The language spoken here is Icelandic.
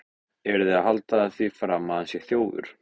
Eruð þið að halda því fram að hann sé þjófur!